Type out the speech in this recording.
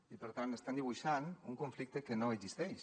i per tant estem dibuixant un conflicte que no existeix